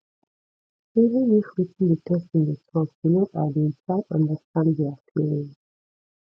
even if wetin di person dey talk you no agree try understand their feelings